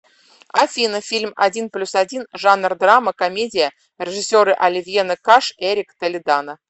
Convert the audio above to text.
афина фильм один плюс один жанр драма комедия режисеры оливьена каш эрик толедано